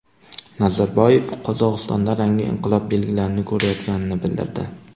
Nazarboyev Qozog‘istonda rangli inqilob belgilarini ko‘rayotganini bildirdi.